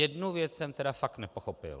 Jednu věc jsem tedy fakt nepochopil.